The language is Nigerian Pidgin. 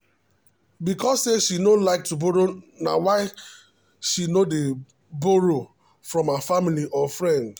because say she no like to borrow na why she no dey borroe from her family or friends.